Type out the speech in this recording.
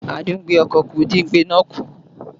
Àdíngbekù-ọkọ̀ dín igbe náà kù